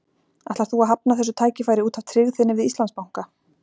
Ætlar þú að hafna þessu tækifæri út af tryggð þinni við Íslandsbanka?